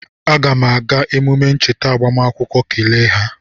Aga m aga emume ncheta agbamakwụkwọ kele ha